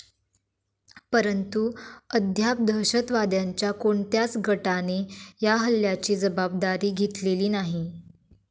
परंतु, अद्याप दहशतवाद्यांच्या कोणत्याच गटाने या हल्ल्याची जबाबदारी घेतलेली नाही.